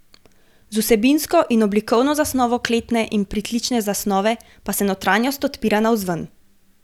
Z vsebinsko in oblikovno zasnovo kletne in pritlične zasnove pa se notranjost odpira navzven.